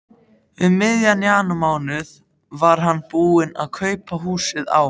Um miðjan janúarmánuð var hann búinn að kaupa húsið á